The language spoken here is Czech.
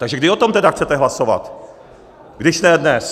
Takže kdy o tom tedy chcete hlasovat, když ne dnes?